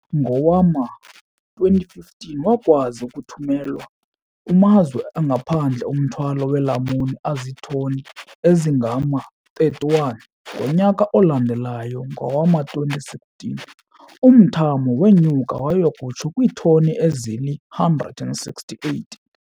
Ngowama-2015, wakwazi ukuthumela kumazwe angaphandle umthwalo weelamuni azithoni ezingama-31. Ngonyaka olandelayo, ngowama-2016, umthamo wenyuka waya kutsho kwiithoni ezili-168.